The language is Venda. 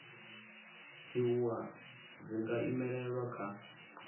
dziwua dzi nga imelelwa kha